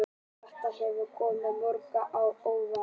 Þetta hefur komið mörgum á óvart